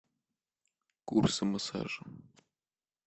курсы массажа